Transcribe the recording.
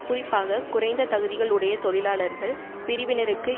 குறிப்பாக குறைந்த தகுதிகள் உடைய தொழிலாளர்கள் பிரிவினருக்கு